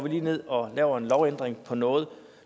ned og laver en lovændring på noget